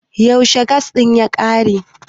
yaushe gas din ya kare?